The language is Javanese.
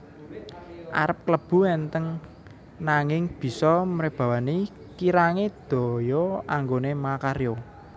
Arep klebu entheng nanging bisa mrebawani kirange daya anggone makarya